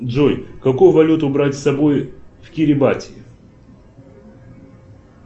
джой какую валюту брать с собой в кирибати